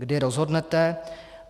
Kdy rozhodnete.